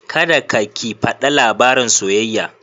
Kada ka/ki fada labaran soyayya.